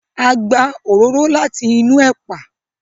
a gbà òróró láti inú epa